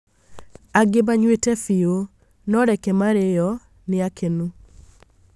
Angĩ manyuĩte biũ, no reke maarĩo, nĩakenu